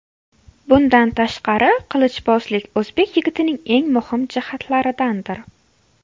Bundan tashqari, qilichbozlik o‘zbek yigitining eng muhim jihatlaridandir.